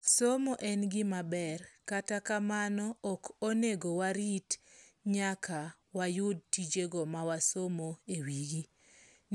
Somo en gimaber kata kamano, ok onego warit nyaka wayud tijego ma wasomo ewigi.